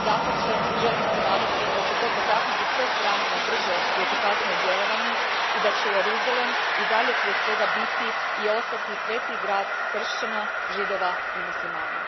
Dapače, želim se nadati da će to potaknuti sve strane na brže i efikasnije djelovanje i da će Jeruzalem i dalje prije svega biti i ostati sveti grad kršćana, židova i muslimana.